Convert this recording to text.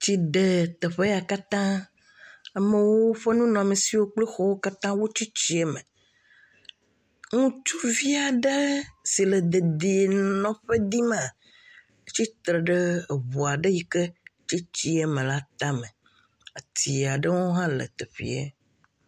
Tsi ɖe teƒe ya katã. Amewo nunɔamesiwo katã tsi tsia me. Ŋutsuvi aɖe si le dedie nɔƒe dzim ma, tsitre ɖe eʋua ɖe yike tsi tsi me la tame. Ati aɖewo hã le teƒea.